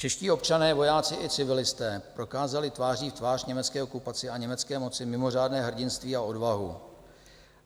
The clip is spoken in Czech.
Čeští občané, vojáci i civilisté prokázali tváří v tvář německé okupaci a německé moci mimořádné hrdinství a odvahu.